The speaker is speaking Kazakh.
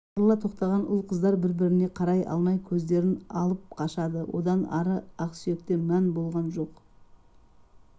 ошарыла тоқтаған ұл-қыздар бір-біріне қарай алмай көздерін алып қашады одан ары ақ сүйекте мәні болған жоқ